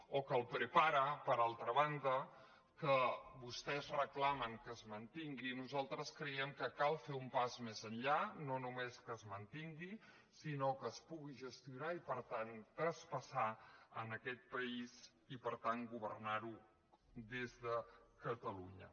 o que el prepara per altra banda que vostès reclamen que es mantingui nosaltres creiem que cal fer un pas més enllà no només que es mantingui sinó que es pugui gestionar i per tant traspassar a aquest país i per tant governar ho des de catalunya